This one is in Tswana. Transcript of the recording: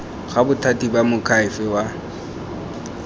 ga bothati ba moakhaefe wa